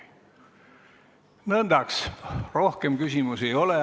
Nõndaks, rohkem küsimusi ei ole.